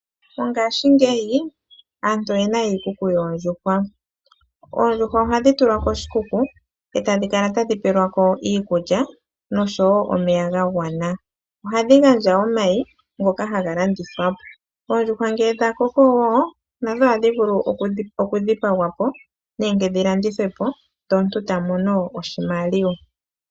Mongaashingeyi aantu oyena iikuku yoondjuhwa. Oondjuhwa ohadhi tulwa koshikuku etadhi kala tadhi pelwa ko iikulya noshowo omeya gagwana. Ohadhi gandja omayi ngoka haga landithwa oondjuhwa ngele dhakoko nadho ohadhi vulu oku dhipangwa po nenge dhilandithwe po omuntu eta mono oshimaliwa.